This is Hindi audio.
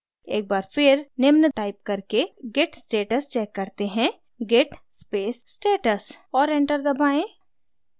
एक बार फिर निम्न टाइप करके git status check करते हैं git space status और enter दबाएँ